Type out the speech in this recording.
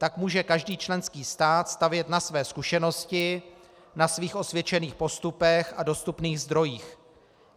Tak může každý členský stát stavět na své zkušenosti, na svých osvědčených postupech a dostupných zdrojích.